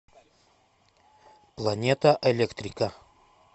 планета электрика